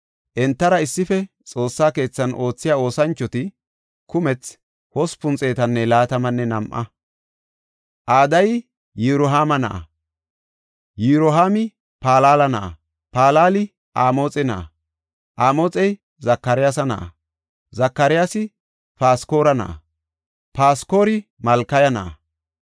Entara issife Xoossa keethan oothiya oosanchoti kumethi 822. Adayi Yirohaama na7a; Yirohaami Palala na7a, Palali Amoxe na7a; Amoxey Zakaryaasa na7a; Zakaryaasi Paskora na7a; Paskora Malkiya na7a.